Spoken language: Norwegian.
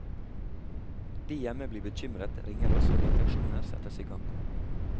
De hjemme blir bekymret, ringer oss, og leteaksjoner settes i gang.